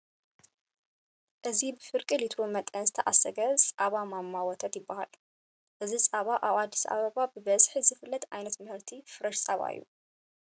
እዚ ብፍርቂ ሊትሮ መጠን ዝተዓፀገ ፃባ ማማ ወተት ይበሃል፡፡ እዚ ፃባ ኣብ ኣዲስ ኣባባ ብብዝሒ ዝፍለጥ ዓይነት ምህርቲ ፍረሽ ፃባ እዩ፡፡